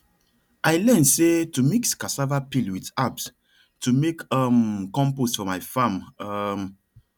i learn say to mix cassava peel with herbs to make um compost for my farm um